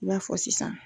I b'a fɔ sisan